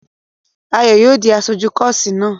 Ayò yóò di aṣojú kọ́ọ́sì náà!